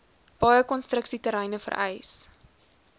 baie konstruksieterreine vereis